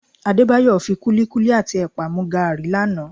Adébáyọ̀ kúlíkúlí àti ẹ̀pà mu gààrí lánàá